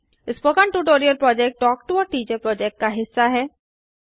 spoken tutorial project talk to a teacher project का हिस्सा है